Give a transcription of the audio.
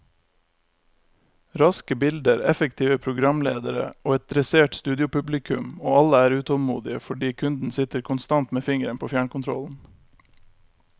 Raske bilder, effektive programledere og et dressert studiopublikum, og alle er utålmodige fordi kunden sitter konstant med fingeren på fjernkontrollen.